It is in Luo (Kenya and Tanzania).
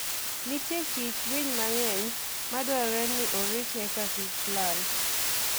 Nitie kit winy mang'eny madwarore ni orit eka kik lal.